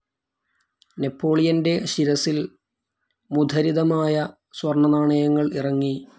നെപ്പോളിയൻ്റെ ശിരസിൽ മുദരിതമായ സ്വർണനാണയങ്ങൾ ഇറങ്ങി.